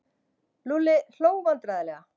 Lúlli hló vandræðalega.